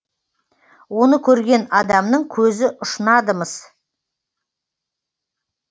оны көрген адамның көзі ұшынады мыс